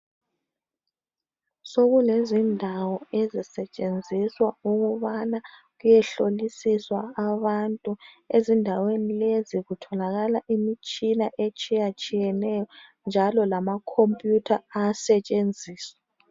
Sokulezindawo ezisetshenziswa ukubana kuyehlolisiswa abantu. Ezindaweni lezi kutholakala imitshina etshiyatshiyeneyo njalo lamakhompiyutha ayasetshenziswa.